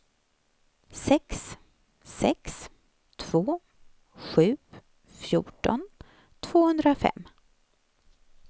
sex sex två sju fjorton tvåhundrafem